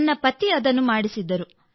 ನನ್ನ ಪತಿ ಅದನ್ನು ಮಾಡಿಸಿದ್ದರು